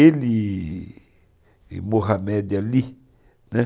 Ele e Mohamed Ali, né,